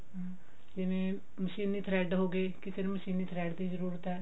ਹਮ ਜਿਵੇਂ ਮਸ਼ੀਨੀ thread ਹੋਗੇ ਕਿਸੇ ਨੂੰ ਮਸ਼ੀਨੀ thread ਦੀ ਜਰੂਰਤ ਹੈ